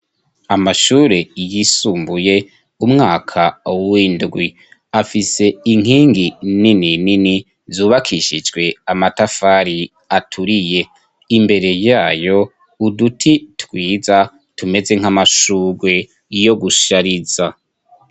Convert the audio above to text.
Amashure yisumbuye umwaka w'indwi afise inkingi nininini zubakishijwe amatafari aturiye. Imbere yayo uduti twiza tumeze nk'amashurwe yo gushariza.